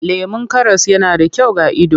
Lemon karas yana da kyau ga ido.